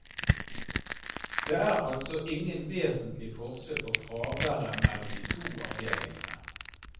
Det er altså ingen vesentlig forskjell på fraværet mellom de to avdelingene.